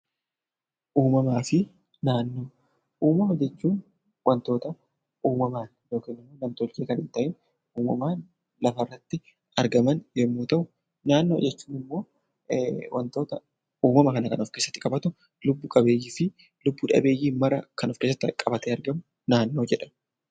Uumama jechuun waantota uumamaan yookiin immoo nam-tolchee kan hin ta'iin, uumamaan lafarratti argaman yommuu ta'u, naannoo jechuun immoo wantoota uumama kana kan of keessatti qabatu, lubbu qabeeyyii fi lubbu dhabeeyyii mara kan of keessatti qabatee argamu naannoo jedhama.